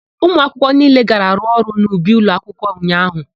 Ụmụakwụkwọ niile gara rụọ ọrụ n'ubi ụlọakwụkwọ ụnyaahụ.